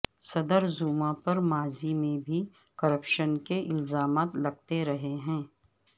صدر زوما پر ماضی میں بھی کرپشن کے الزامات لگتے رہے ہیں